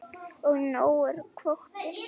Og nógur kvóti.